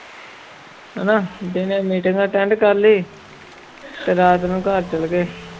ਹਨਾ ਦਿਨੇ meeting attend ਕਰ ਲਈ ਤੇ ਰਾਤ ਨੂੰ ਘਰ ਚਲੇ ਗਏ।